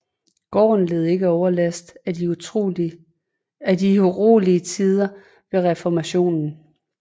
Gården led ikke overlast i de urolige tider ved Reformationen